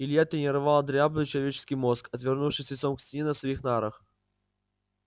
илья тренировал дряблый человеческий мозг отвернувшись лицом к стене на своих нарах